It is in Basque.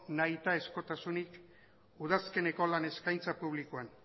nahitaezkotasunik udazkeneko lan eskaintzan publikoan